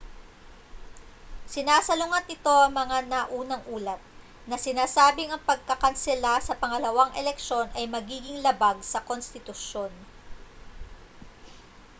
sinasalungat nito ang mga naunang ulat na sinasabing ang pagkakansela sa pangalawang eleksiyon ay magiging labag sa konstitusyon